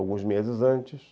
alguns meses antes.